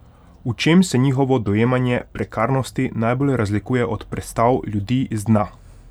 V čem se njihovo dojemanje prekarnosti najbolj razlikuje od predstav ljudi z dna?